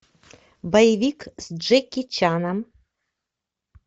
боевик с джеки чаном